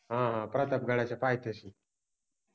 हा ह प्रतापगडाच्या पायथ्याशि